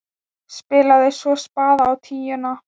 Spilaði svo spaða á tíuna!